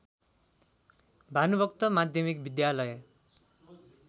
भानुभक्त माध्यमिक विद्यालय